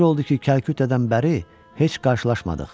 Necə oldu ki, Kəlkütədən bəri heç qarşılaşmadıq?